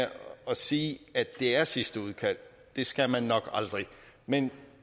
at sige at det er sidste udkald skal man nok aldrig men